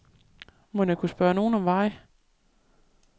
Mon jeg kunne spørge nogen om vej?